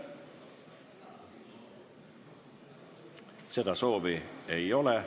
Seda soovi ei ole.